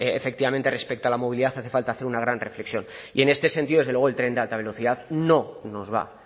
efectivamente respecto a la movilidad hace falta hacer una gran reflexión y en este sentido desde luego el tren de alta velocidad no nos va